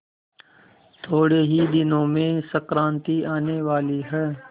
थोड़े ही दिनों में संक्रांति आने वाली है